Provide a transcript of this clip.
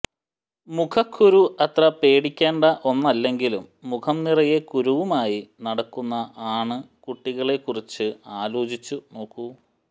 മുഖക്കുരു അത്ര പേടിക്കേണ്ട ഒന്നല്ലെങ്കിലും മുഖം നിറയെ കുരുവുമായി നടക്കുന്ന ആണ്കുട്ടികളെക്കുറിച്ച് ആലോചിച്ചു നോക്കൂ